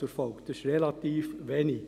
Es ist relativ wenig.